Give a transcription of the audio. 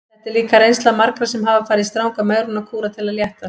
Þetta er líka reynsla margra sem hafa farið í stranga megrunarkúra til að léttast.